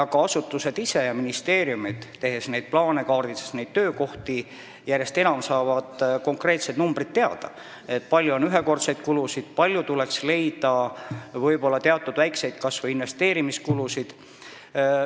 Ministeeriumid ja asutused ise saavad plaane tehes, neid töökohti järjest enam kaardistades teada konkreetsed numbrid: kui palju on ühekordseid kulusid, kui palju tuleks leida kas või väikseid investeerimiskulusid.